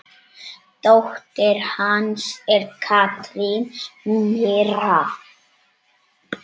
Dóttir hans er Katrín Mirra.